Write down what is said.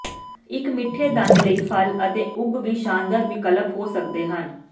ਇੱਕ ਮਿੱਠੇ ਦੰਦ ਲਈ ਫਲ ਅਤੇ ਉਗ ਵੀ ਸ਼ਾਨਦਾਰ ਵਿਕਲਪ ਹੋ ਸਕਦੇ ਹਨ